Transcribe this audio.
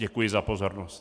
Děkuji za pozornost.